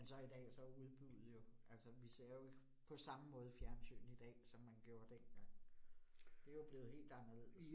Men så i dag, så udbuddet jo altså vi ser jo ikke på samme måde fjernsyn i dag, som man gjorde dengang. Det jo blevet helt anderledes